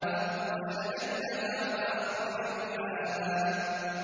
وَأَغْطَشَ لَيْلَهَا وَأَخْرَجَ ضُحَاهَا